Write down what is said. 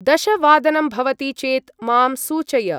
दशवादनं भवति चेत् मां सूचय।